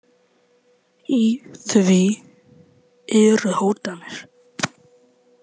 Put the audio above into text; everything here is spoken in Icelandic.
Í því eru hótanir.